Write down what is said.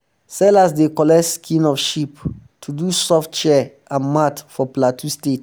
sellers dey collect skin of sheep to do soft chair and mat for plateau state